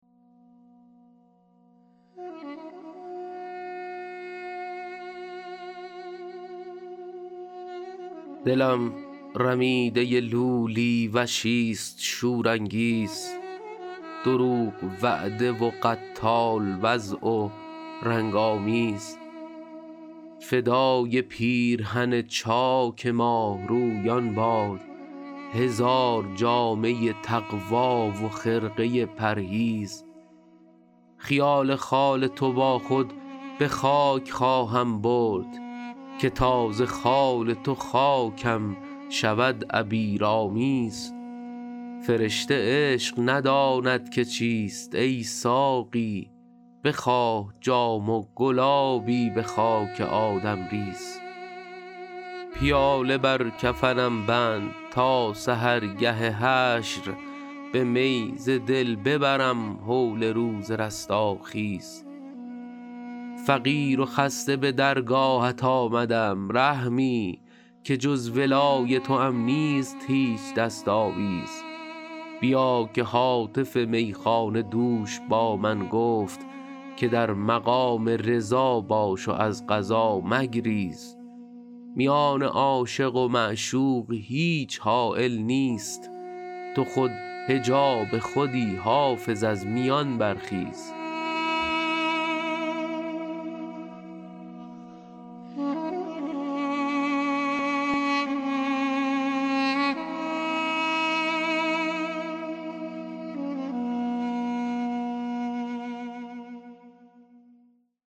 دلم رمیده لولی وشیست شورانگیز دروغ وعده و قتال وضع و رنگ آمیز فدای پیرهن چاک ماهرویان باد هزار جامه تقوی و خرقه پرهیز خیال خال تو با خود به خاک خواهم برد که تا ز خال تو خاکم شود عبیرآمیز فرشته عشق نداند که چیست ای ساقی بخواه جام و گلابی به خاک آدم ریز پیاله بر کفنم بند تا سحرگه حشر به می ز دل ببرم هول روز رستاخیز فقیر و خسته به درگاهت آمدم رحمی که جز ولای توام نیست هیچ دست آویز بیا که هاتف میخانه دوش با من گفت که در مقام رضا باش و از قضا مگریز میان عاشق و معشوق هیچ حایل نیست تو خود حجاب خودی حافظ از میان برخیز